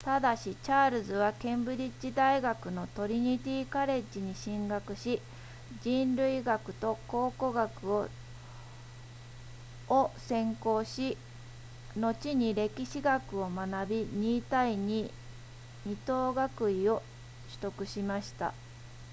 ただしチャールズはケンブリッジ大学のトリニティカレッジに進学し人類学と考古学を専攻し後に歴史学を学び 2:22 等学位を取得しました